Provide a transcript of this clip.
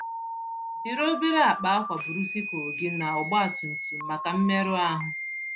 Jiri obere akpa akwa buru sikụl gị na ọgba tum tum màkà mmerụ ahụ.